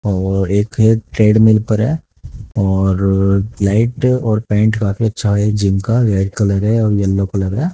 और एक है ट्रेडमिल है और लाइट और पेंट काफी अच्छा है जिम का रेड कलर है और येलो कलर है।